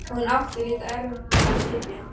Hún átti líka erfitt með að sitja.